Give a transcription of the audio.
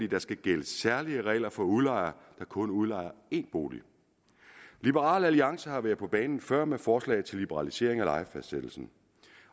der skal gælde særlige regler for udlejere der kun udlejer én bolig liberal alliance har været på banen før med forslag til liberalisering af lejefastsættelsen